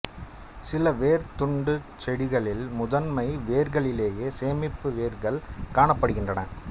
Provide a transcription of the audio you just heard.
சில வேர்த் தண்டுச் செடிகளில் முதன்மை வேர்களிலேயே சேமிப்பு வேர்கள் காணப்படுகின்றன